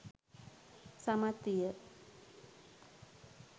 සමත් විය.